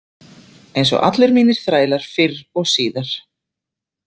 Eins og allir mínir þrælar fyrr og síðar.